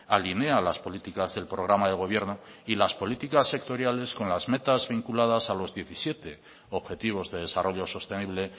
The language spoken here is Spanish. alinea las políticas del programa de gobierno y las políticas sectoriales con las metas vinculadas a los diecisiete objetivos de desarrollo sostenible